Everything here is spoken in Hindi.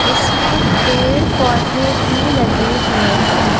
इसमें पेड़-पौधे भी लगे हुए हैं।